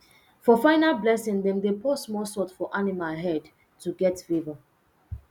for final blessing dem dey pour small salt for animal head to get favour